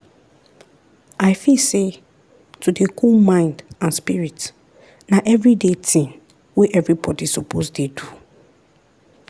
i feel say to dey cool mind and spirit na everyday tin wey everybody suppose dey do.